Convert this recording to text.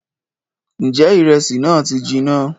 Ǹjẹ́ ìrẹsì náà ti jinná?